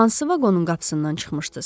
Hansı vaqonun qapısından çıxmışdız?